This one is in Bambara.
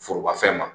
Forobafɛn ma